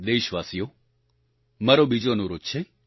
દેશવાસીઓ મારો બીજો અનુરોધ છે